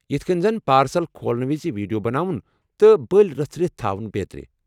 یتھ کٔنۍ زن پارسل کھولنہٕ وِز ویڈیو بناوُن تہٕ بلۍ رژھرِتھ تھاوُن بیترِ۔